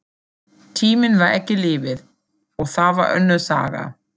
Tíminn var ekki lífið, og það var önnur saga.